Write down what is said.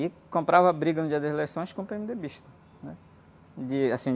E comprava briga no dia das eleições com pê-eme-dê-bista, né? De, assim...